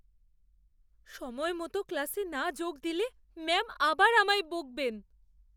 সময়মত ক্লাসে না যোগ দিলে ম্যাম আবার আমায় বকবেন।